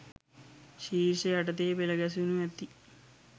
ශීර්ෂ යටතේ පෙලගැසෙනු ඇති.